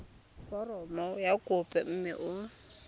foromo ya kopo mme o